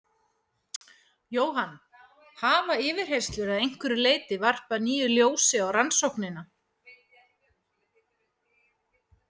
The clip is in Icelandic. Jóhann: Hafa yfirheyrslur að einhverju leyti varpað nýju ljósi á rannsóknina?